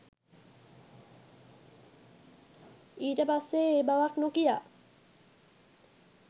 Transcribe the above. ඊට පස්සේ ඒ බවක් නොකියා